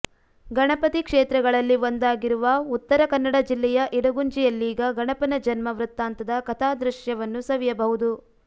ಗಣಪತಿ ಕ್ಷೇತ್ರಗಳಲ್ಲಿ ಒಂದಾಗಿರುವ ಉತ್ತರ ಕನ್ನಡ ಜಿಲ್ಲೆಯ ಇಡಗುಂಜಿಯಲ್ಲೀಗ ಗಣಪನ ಜನ್ಮ ವೃತ್ತಾಂತದ ಕಥಾದೃಶ್ಯವನ್ನೂ ಸವಿಯಬಹುದು